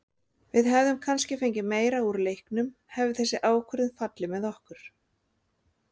Við hefðum kannski fengið meira úr leiknum hefði þessi ákvörðun fallið með okkur.